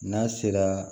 N'a sera